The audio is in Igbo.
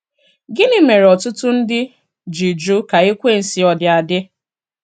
Gịnị mere ọtụtụ ndị ji jụ ka Ekwensu ọdi adị?